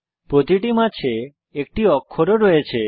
প্রতিটি মাছে একটি অক্ষর ও রয়েছে